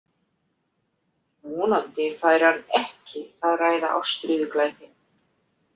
Vonandi færi hann ekki að ræða ástríðuglæpi.